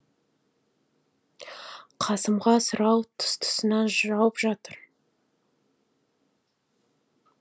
қасымға сұрау тұс тұсынан жауып жатыр